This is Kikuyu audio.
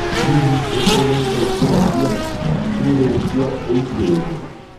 Hihi, nĩ tuonete njĩra cia kĩrĩu cia ũitĩrĩria?